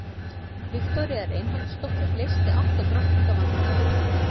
Viktoría Reinholdsdóttir leysti átta drottninga vandamálið í Vík.